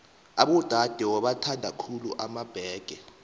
abodade bowathanda khulu emabhege